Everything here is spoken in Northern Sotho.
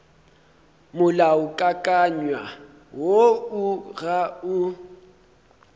molaokakanywa woo o ga o